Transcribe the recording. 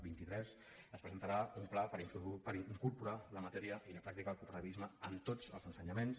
vint i tres es presentarà un pla per incorporar la matèria i la pràctica al cooperativisme en tots els ensenyaments